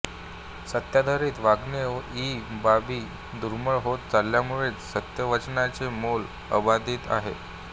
सत्याधारित वागणे इ बाबी दुर्मिळ होत चालल्यामुळेच सत्यवचनाचे मोल अबाधित आहे